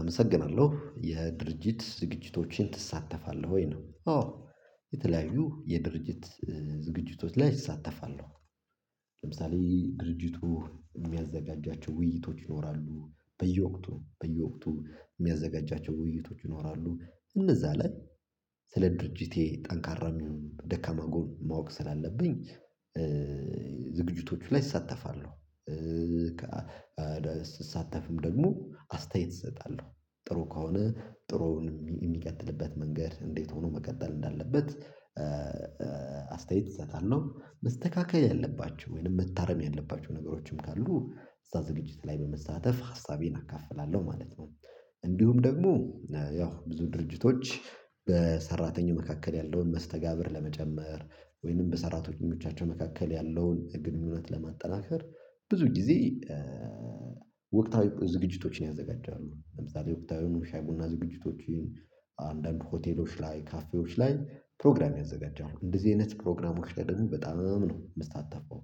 አመሰግናለሁ። የድርጅት ዝግጅቶችን ትሳተፋለህ ወይ ነው አዎ የተለያዩ የድርጅት ዝግጅቶች ላይ እሳተፋለሁ ለምሳሌ ድርጅቱ የሚያዘጋጃቸው ውይይቶች ይኖራሉ በየወቅቱ በየወቅቱ የሚያዘጋጃቸው ውይይቶች ይኖራሉ እነዛ ላይ ስለ ድርጅቴ ጠንካራም ይሁን ደካማ ጎን ማወቅ ስላለብኝ ዝግጅቶቹ ላይ እሳተፋለሁ ስሳተፍም ደግሞ አስተያየት እሰጣለሁ ጥሩ ከሆነ ጥሩውን የሚቀጥልበት መንገድ እንዴት ሆኖ መቀጠል እንዳለበት አስተያየት ይሰጣል ነው መስተካከል ያለባችሁ ወይንም መታረም ያለባችሁ ነገሮችም ካሉ እዛ ዝግጅት ላይ በመሳተፍ ሀሳቤን አካፍላለሁ ማለት ነው እንዲሁም ደግሞ ያው ብዙ ድርጅቶች በሰራተኛው መካከል ያለውን መስተጋብር ለመጨመር ወይንም በሰራተኞቻቸው መካከል ያለውን ግንኙነት ለማጠናከር ብዙ ጊዜ ወቅታዊ ዝግጅቶችን ያዘጋጃሉ ለምሳሌ ወቅታዊ ሻይ ቡና ዝግጅቶችን አንዳንድ ሆቴሎች ላይ ካፌዎች ላይ ፕሮግራም ያዘጋጃሉ እንደዚህ አይነት ፕሮግራሞች ላይ ደግሞ በጣም ነው የምስታተፈው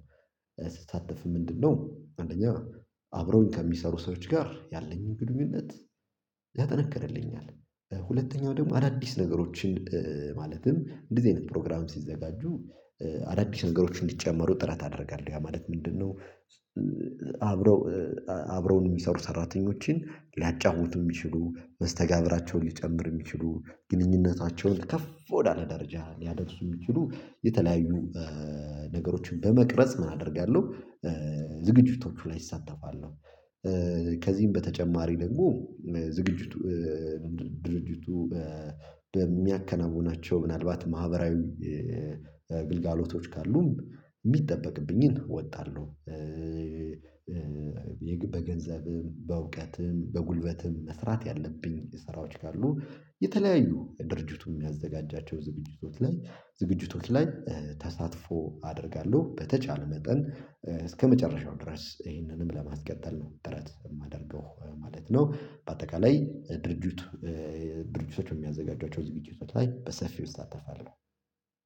ስስታተፍ ምንድነው አንደኛ አብሮኝ ከሚሰሩ ሰዎች ጋር ያለኝን ግንኙነት ያጠነከርልኛል ሁለተኛው ደግሞ አዳዲስ ነገሮችን ማለትም እንደዚህ አይነት ፕሮግራም ሲዘጋጁ አዳዲስ ነገሮችን እንዲጨመሩ ጥረት አደርጋለሁ ያ ማለት ምንድነው አብረው አብረውን የሚሰሩ ሰራተኞችን ሊያጫውቱ የሚችሉ መስተጋብራቸውን ሊጨምር የሚችሉ ግንኙነታቸውን ከፍ ወዳለ ደረጃ ሊያደርሱ የሚችሉ የተለያዩ ነገሮችን በመቅረጽ ምን አደርጋለሁ ዝግጅቶቹ ላይ እሳተፋለሁ ከዚህም በተጨማሪ ደግሞ ዝግጅቱ ድርጅቱ በሚያከናውናቸው ምናልባት ማህበራዊ ግልጋሎቶች ካሉም የሚጠበቅብኝን እወጣለሁ በገንዘብም በእውቀትም በጉልበትም መስራት ያለብኝ ስራዎች ካሉ የተለያዩ ድርጅቱም የሚያዘጋጃቸው ዝግጅቶች ላይ ዝግጅቶች ላይ ተሳትፎ አደርጋለሁ በተቻለ መጠን እስከመጨረሻው ድረስ ይህንንም ለማስቀጠል ነው ጥረት የማደርገው ማለት ነው በአጠቃላይ ድርጅት ድርጅቶች በሚያዘጋጇቸው ዝግጅቶች ላይ በሰፊው እሳተፋለሁ